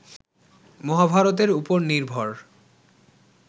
মহাভারতের উপর নির্ভর